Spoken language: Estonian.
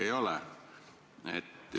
Ei ole nagu selge vuuk.